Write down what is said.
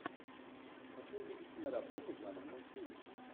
хочу увидеть киноработу жанр мультфильм